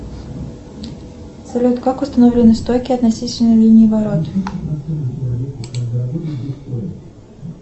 салют как установлены стойки относительно линии ворот